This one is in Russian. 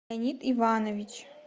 леонид иванович